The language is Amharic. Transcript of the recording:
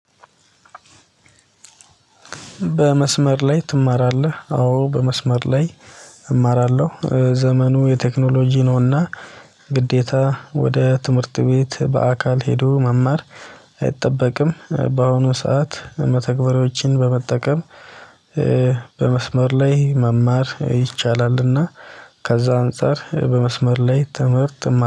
በመስመር ላይ ትማራለህ? አዎ በመስመር ላይ እማራለሁ ዘመኑ የቴክኖሎጂ ነውና። ግዴታ ወደ ትምህርት ቤት በአካል ሄዶ መማር አይጠበቅም። በአሁኑ ሰዓት መተግበሪያዎችን በመጠቀም ቀመስመር ላይ መማር ይቻላልና። ከዛ አንፃር በመስመር ላይ ትምህርት እማራ